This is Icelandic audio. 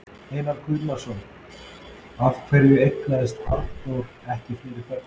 Einar Guðnason: Af hverju eignaðist Arnór ekki fleiri börn?